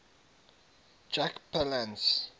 jack palance